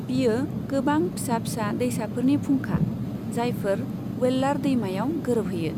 बियो गोबां फिसा फिसा दैसाफोरनि फुंखा, जायफोर वेल्लार दैमायाव गोरोबहैयो।